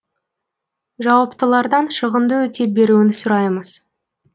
жауаптылардан шығынды өтеп беруін сұраймыз